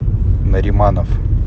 нариманов